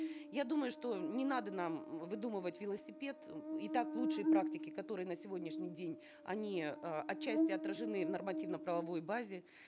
я думаю что не надо нам выдумывать велосипед м и так лучшие практики которые на сегодняшний день они э отчасти отражены в нормативно правовой базе